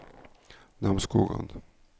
Namsskogan